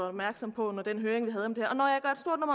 opmærksom på under den høring vi havde om det